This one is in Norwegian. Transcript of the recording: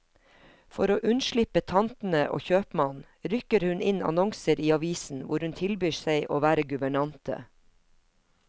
For å unnslippe tantene og kjøpmannen, rykker hun inn annonser i avisen hvor hun tilbyr seg å være guvernante.